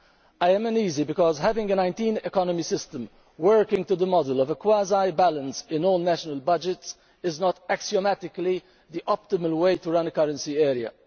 I am uneasy because, having a 19-economy system, working to the model of a quasi-balance in all national budgets is not axiomatically the optimal way to run a currency area.